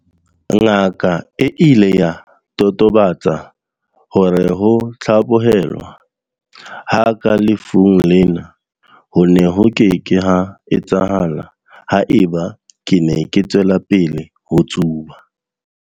Ngaka e ile ya totobatsa hore ho hlaphohelwa ha ka lefung lena ho ne ho ke ke ha etsahala haeba ke ne ke tswela pele ho tsuba.